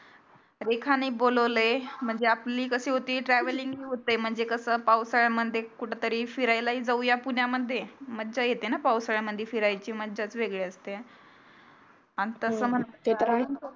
रेखाने बोलवलय म्हणजे आपली कशी होती travelling होते म्हणजे कसं पावसाळ्या मध्ये कुठेतरी फिरायला हि जाऊया पुण्यामध्ये मज्जा येते ना पावसाळ्यामध्ये फिरायचची मज्जाच वेगळी असते अन तस ते तर आहेच